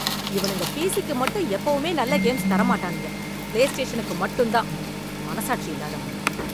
இவனுங்க பிசிக்கு மட்டும் எப்போவுமே நல்ல கேம்ஸ் தர மாட்டானுங்க. பிலேஸ்டேஷனுக்கு மட்டும் தான். மனசாட்சி இல்லாதவனுங்க!